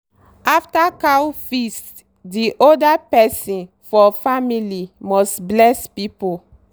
after cow feast the oldest person for family must bless people.